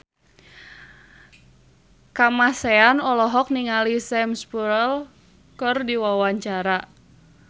Kamasean olohok ningali Sam Spruell keur diwawancara